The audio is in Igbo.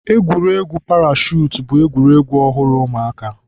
Egwuregwu parashutu bụ egwuregwu ọhụrụ ụmụaka.